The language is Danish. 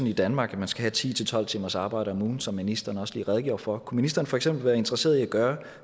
i danmark at man skal have ti til tolv timers arbejde om ugen som ministeren også lige redegjorde for og kunne ministeren for eksempel være interesseret i at gøre